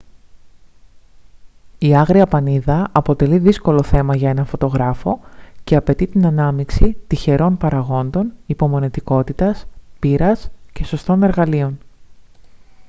η άγρια πανίδα αποτελεί δύσκολο θέμα για έναν φωτογράφο και απαιτεί την ανάμειξη τυχερών παραγόντων υπομονετικότητας πείρας και σωστών εργαλείων